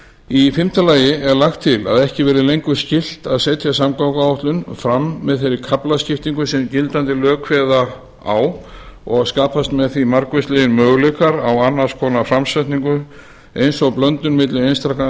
í fimmta lagi er lagt til að ekki verði lengur skylt að setja samgönguáætlun fram með þeirri kaflaskiptingu sem gildandi lög kveða á um og skapast með því margvíslegir möguleikar á annars konar framsetningu eins og blöndun milli einstakra